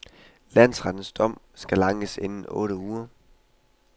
Landsrettens dom skal ankes inden for otte uger.